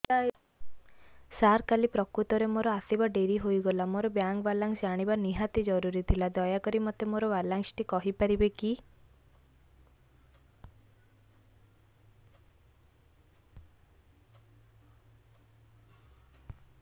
ସାର କାଲି ପ୍ରକୃତରେ ମୋର ଆସିବା ଡେରି ହେଇଗଲା ମୋର ବ୍ୟାଙ୍କ ବାଲାନ୍ସ ଜାଣିବା ନିହାତି ଜରୁରୀ ଥିଲା ଦୟାକରି ମୋତେ ମୋର ବାଲାନ୍ସ ଟି କହିପାରିବେକି